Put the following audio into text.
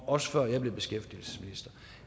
også før jeg blev beskæftigelsesminister